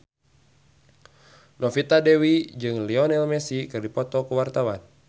Novita Dewi jeung Lionel Messi keur dipoto ku wartawan